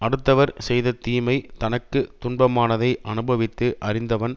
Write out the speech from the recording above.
அடுத்தவர் செய்த தீமை தனக்கு துன்பமானதை அனுபவித்து அறிந்தவன்